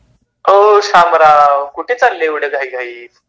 ओ श्यामराव कुठे चालले एवढ्या घाई घाईत ?